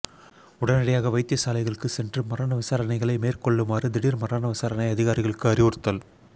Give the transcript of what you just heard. உடனடியாக வைத்தியசாலைகளுக்கு சென்று மரண விசாரணைகளை மேற்கொள்ளுமாறு திடீர் மரண விசாரணை அதிகாரிகளுக்கு அறிவுறுத்தல்